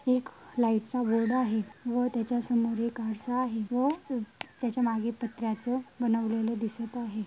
एक लाइट चा बोर्ड आहे व त्याच्या समोर एक आरसा आहे व त्याच्या मागे पत्र्याच बनवलेल दिसत आहे.